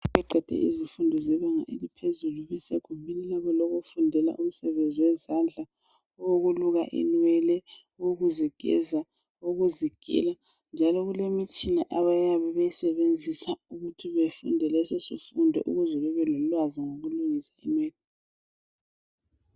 izifundo zebanga elanga phezulu ulakho ukufundela imisebenzi yezandla ukuluka inywele ukuzigeza owokuzigela njalo kulemitshina abayisebenzisa ukuthi befunde lesosifundo ukuze bebelolwazi ngokulungisa inwele.